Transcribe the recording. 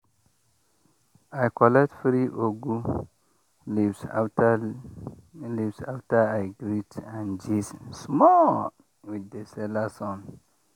i collect free ugu leaves after leaves after i greet and gist small with the seller son.